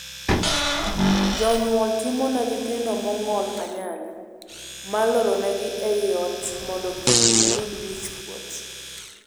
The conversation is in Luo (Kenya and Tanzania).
Jonyuol timone nyithindo mong'ol anyali mar lorogi ei ot mondo kik giyud wich kuot.